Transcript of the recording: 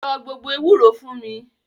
Lọ gbo ewúro fún mi!